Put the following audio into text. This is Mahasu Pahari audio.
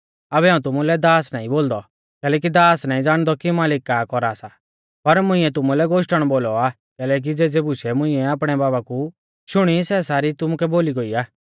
आबै हाऊं तुमुलै दास नाईं बोलदौ कैलैकि दास नाईं ज़ाणदौ कि मालिक का कौरा सा पर मुंइऐ तुमुलै गोश्टण बोलौ आ कैलैकि ज़ेज़ी बुशै मुंइऐ आपणै बाबा कु शुणी सै सारी तुमुकै बोली गोई आ